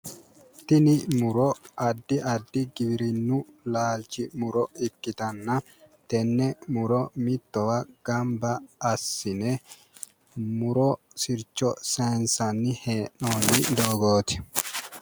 Tini muro addi addi giwirinnu laalchi muro ikkitanna tenne muro mittowa gamba assine mu'ro sircho saayiinsanni hee'noonni doogooti